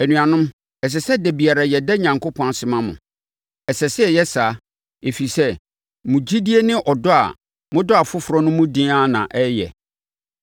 Anuanom, ɛsɛ sɛ da biara yɛda Onyankopɔn ase ma mo. Ɛsɛ sɛ yɛyɛ saa, ɛfiri sɛ, mo gyidie ne ɔdɔ a modɔ afoforɔ no mu den ara na ɛreyɛ.